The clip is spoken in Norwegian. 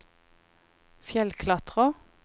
fjellklatrer